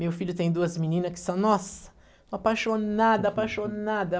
Meu filho tem duas meninas que são, nossa, apaixonada, apaixonada.